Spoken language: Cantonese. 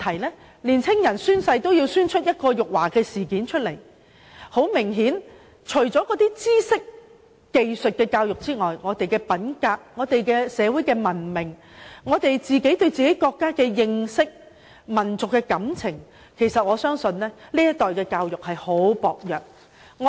年青人宣誓也可鬧出辱華事件，顯然除了知識和技術的傳授之外，現時的教育制度對年青人的個人品格、社會文明、國家認識和民俗感情的培育，均是非常薄弱。